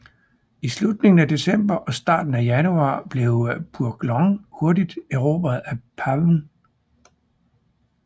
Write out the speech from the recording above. I slutningen af december og starten af januar blev Phuoc Long hurtigt erobret af PAVN